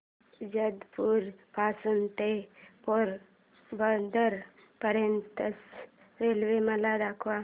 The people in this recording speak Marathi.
जेतपुर पासून ते पोरबंदर पर्यंत च्या रेल्वे मला सांगा